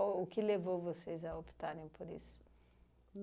ou o que levou vocês a optarem por isso?